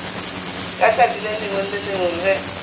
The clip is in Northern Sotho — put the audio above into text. ka tšatši le lengwe ge